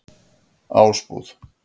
Ásbúð